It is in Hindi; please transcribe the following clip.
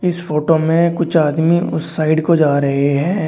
इस फोटो में कुछ आदमी उस साइड को जा रहे हैं।